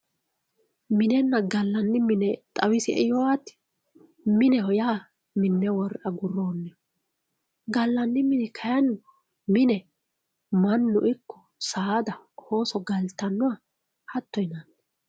minenna gallani mine xawisi"e yoo ati mineho yaa minne worre agurooniho gallanni mini kayiini mine mannu ikko saada, ooso galtannoha hatto yinanni